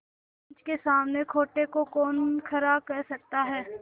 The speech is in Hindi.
पंच के सामने खोटे को कौन खरा कह सकता है